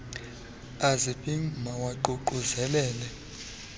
azi pim mawaququzelelel